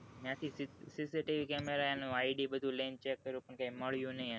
ત્યાં થી cctv camera એનું id બધું લઇ ને check પણ કઈ મલ્યું ની એનું